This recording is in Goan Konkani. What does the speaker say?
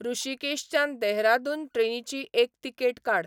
ह्रषीकेशच्यान देहरादून ट्रेनीची एक तिकेट काड